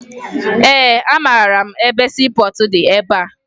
Ee, amara m ebe siipọọtụ dị ebea